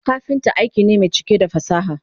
kafinta aiki ne Mai cike da fasaha